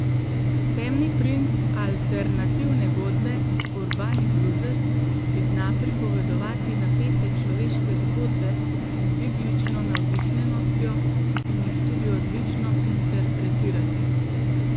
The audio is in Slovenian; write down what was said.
Temni princ alternativne godbe, urbani bluzer, ki zna pripovedovati napete človeške zgodbe z biblično navdihnjenostjo in jih tudi odlično interpretirati.